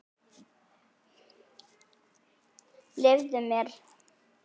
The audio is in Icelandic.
Leyfðu mér!